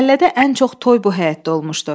Məhəllədə ən çox toy bu həyətdə olmuşdu.